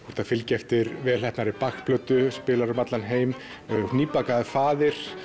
þú ert að fylgja eftir velheppnaðri Bach plötu spilar um allan heim nýbakaður faðir